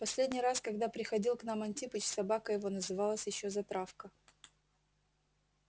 в последний раз когда приходил к нам антипыч собака его называлась ещё затравка